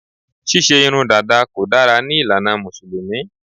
Ṣíṣe irun dàda kò dára ní ìlànà Mùsùlùmí